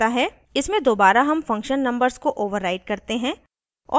इसमें दोबारा हम function numbers को override करते हैं